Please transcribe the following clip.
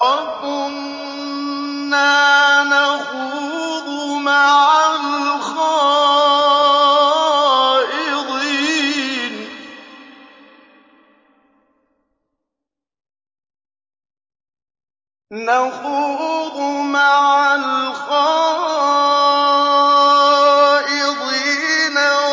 وَكُنَّا نَخُوضُ مَعَ الْخَائِضِينَ